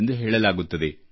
ಎಂದು ಹೇಳಲಾಗುತ್ತದೆ